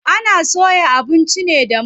Ana soya abinci ne da mai.